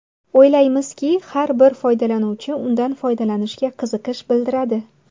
O‘ylaymizki, har bir foydalanuvchi undan foydalanishga qiziqish bildiradi”.